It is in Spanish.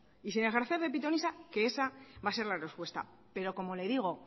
y sin ejercer de pitonisa que esa va a ser la respuesta pero como le digo